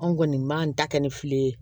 Anw kɔni b'an ta kɛ ni fili ye